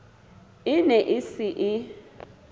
e ne e se e